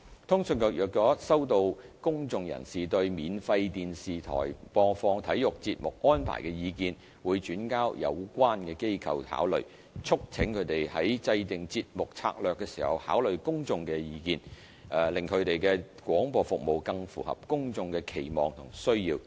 通訊局若收到公眾人士對免費電視台播放體育節目安排的意見，會轉交有關機構考慮，促請他們在訂定節目策略時考慮公眾的意見，令其廣播服務更符合公眾的期望和需要。